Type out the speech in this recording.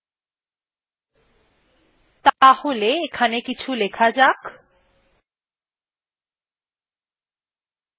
তাহলে এখানে কিছু লেখা যাক